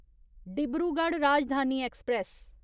Dibrugarh Rajdhani express